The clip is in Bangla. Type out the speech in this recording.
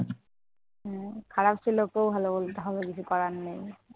খারাপ ছেলেকেও ভালো বলতে হবে, কিছু করার নেই।